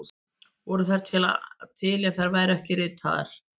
Voru þær til ef þær voru ekki ritaðar?